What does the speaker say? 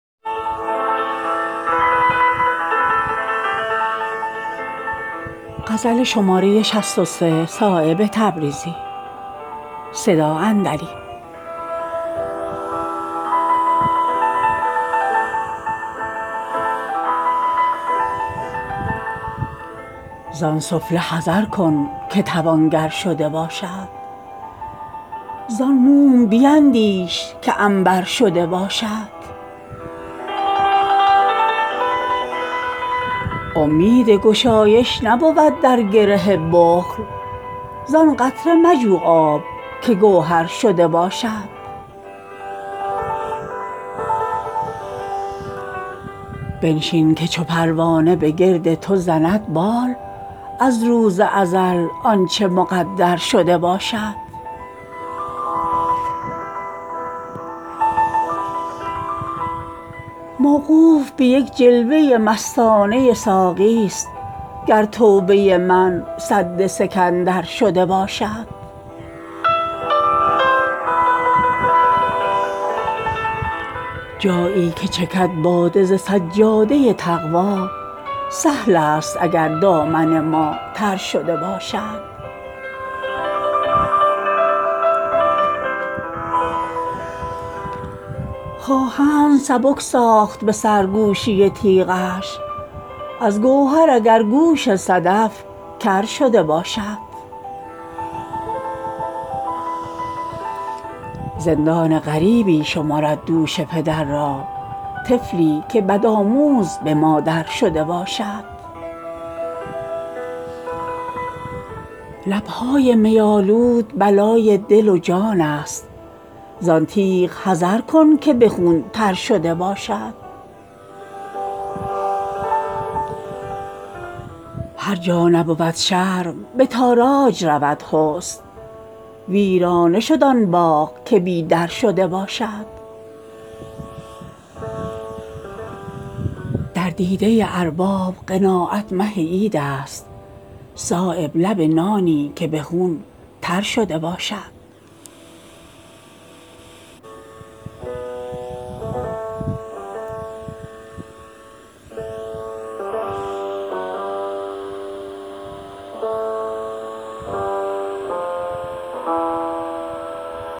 زان سفله حذرکن که توانگرشده باشد زان موم بیندیش که عنبر شده باشد امید گشایش نبود در گره بخل زان قطره مجوآب که گوهرشده باشد بنشین که چوپروانه به گرد توزند بال از روز ازل آنچه مقدر شده باشد ایام حیاتش همه ایام بهارست روز و شب هرکس که برابرشده باشد موقوف به یک جلوه مستانه ساقی است گر توبه من سد سکندر شده باشد جایی که چکد باده ز سجاده تقوی سهل است اگر دامن ما تر شده باشد در دامن محشر رگ ابری است گهربار مژگان تواز گریه اگرترشده باشد از سنبل فردوس پریشان شودش مغز از زلف دماغی که معطرشده باشد خواهند سبک ساخت به سرگوشی تیغش از گوهر اگر گوش صدف کر شده باشد آزاده نخوانند گرفتارهوا را گرصاحب صددل چو صنوبر شده باشد از گریه شادی مژه اش خشک نگردد چشمی که در او یار مصور شده باشد زندان غریبی شمرد دوش پدر را طفلی که بدآموزبه مادر شده باشد برباد دهد همچو حباب افسرخودرا بی مغزاگرصاحب افسر شده باشد عشق است درین عالم اگربال وپری هست رحم است برآن مرغ که بی پرشده باشد لبهای می آلودبلای دل وجان است زان تیغ حذر کن که به خون ترشده باشد هر جا نبود شرم به تاراج رود حسن ویران شود آن باغ که بی در شده باشد در غنچه بوددامن صحرای بهشتش آن را که دل تنگ میسر شده باشد دانی که چه می بینم ازان قدورخ وزلف چشم توگرآیینه محشرشده باشد نسبت به رخ تازه اودیده شورست آیینه اگرچشمه کوثرشده باشد تکرار حلاوت برد از چاشنی جان پرهیز ز قندی که مکرر شده باشد در دیده ارباب قناعت مه عیدست صایب لب نانی که به خون ترشده باشد